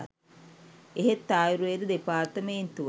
එහෙත් ආයුර්වේද දෙපාර්තමේන්තුව